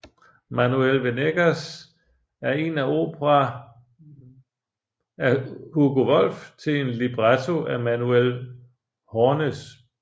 Manuel Venegas er en opera af Hugo Wolf til en libretto af Manuel Hoernes